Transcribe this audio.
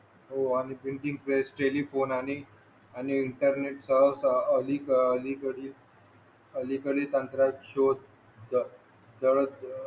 हो आम्ही printing press telephone internet सह अलीकडील तंत्रज्ञान शोध